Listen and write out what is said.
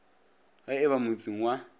ge e ba motseng wa